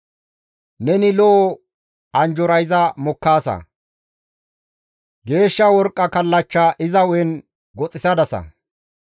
Neni lo7o anjjora iza mokkaasa; geeshsha worqqa kallachcha iza hu7aan goxxisadasa.